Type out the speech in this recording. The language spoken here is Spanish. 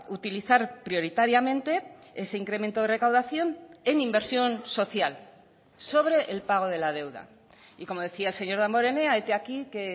utilizar prioritariamente ese incremento de recaudación en inversión social sobre el pago de la deuda y como decía el señor damborenea hete aquí que